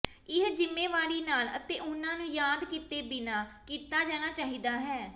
ਇਹ ਜ਼ਿੰਮੇਵਾਰੀ ਨਾਲ ਅਤੇ ਉਹਨਾਂ ਨੂੰ ਯਾਦ ਕੀਤੇ ਬਿਨਾਂ ਕੀਤਾ ਜਾਣਾ ਚਾਹੀਦਾ ਹੈ